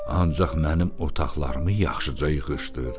Ancaq mənim otaqlarımı yaxşıca yığışdır.